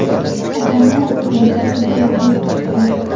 Odamlar bir-biriga juda yaqin turibdi.